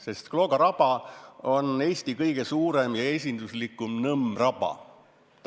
Sest Klooga raba on Eesti kõige suurem ja esinduslikum nõmmraba.